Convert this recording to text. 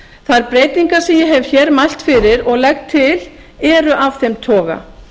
þær breytingar sem ég hef hér mælt fyrir og legg til eru af þeim toga